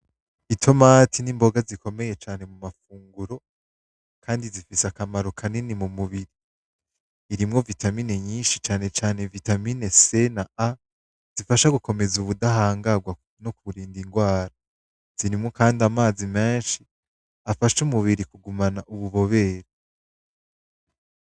I tomati n'imboga zikomeye cane mu mafunguro, kandi zifise akamaro ka nini mu mubiri irimwo vitamine nyinshi canecane vitamine sena a zifasha gukomeza uwudahangarwa no kurinda ingwara zirimwo, kandi amazi menshi afashe umubiri kugumana ububobere.